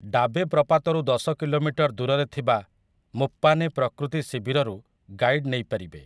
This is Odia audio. ଡାବେ ପ୍ରପାତରୁ ଦଶ କିଲୋମିଟର ଦୂରରେ ଥିବା ମୁପ୍ପାନେ ପ୍ରକୃତି ଶିବିରରୁ ଗାଇଡ୍ ନେଇପାରିବେ ।